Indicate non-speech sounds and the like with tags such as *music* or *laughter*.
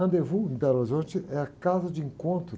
Rendezvous, em, *unintelligible* é a casa de encontro